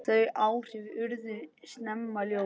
Þau áhrif urðu snemma ljós.